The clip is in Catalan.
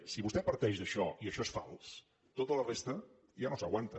si vostè parteix d’això i això és fals tota la resta ja no s’aguanta